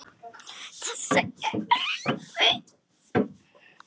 Þessi er erfið.